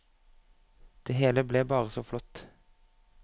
Det hele ble bare så flott.